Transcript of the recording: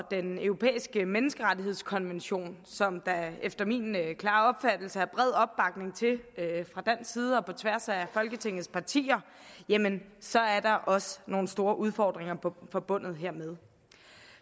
den europæiske menneskerettighedskonvention som der efter min klare opfattelse er bred opbakning til fra dansk side og på tværs af folketingets partier jamen så er der også nogle store udfordringer forbundet hermed